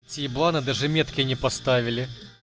ти ебланы даже метки не поставили